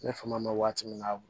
Ne fanga ma waati min na